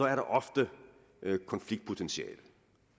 er der ofte konfliktpotentiale